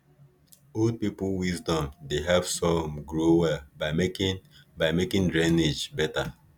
old people wisdom dey help sorghum grow well by making by making drainage better